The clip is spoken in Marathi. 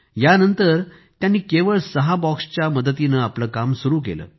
या नंतर त्यांनी केवळ सहा बॉक्स सोबत आपलं काम सुरु केलं